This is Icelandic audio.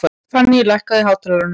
Fanný, lækkaðu í hátalaranum.